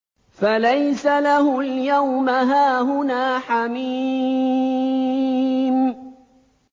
فَلَيْسَ لَهُ الْيَوْمَ هَاهُنَا حَمِيمٌ